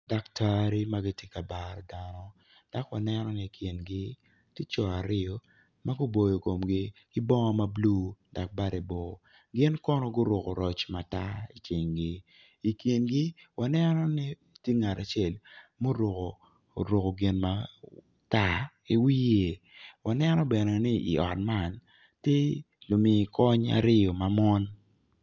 Daktari ma gitye ka baro dano dok wanno ni i kingi tye co aryo ma guboyo komgi ki bongo ma bulu dok bade bor gin kono guruko roc matar i cingi i kingi waneno ni tye ngat acel ma oruko gin ma